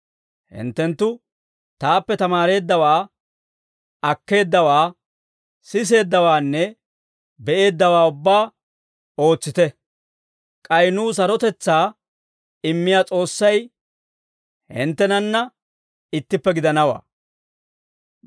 Hinttenttu taappe tamaareeddawaa, akkeeddawaa, siseeddawaanne be'eeddawaa ubbaa ootsite; k'ay nuw sarotetsaa immiyaa S'oossay hinttenanna ittippe gidanawaa.